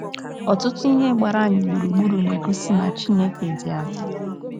Ọtụtụ ihe gbara anyị gburugburu na - egosi na Chineke dị adị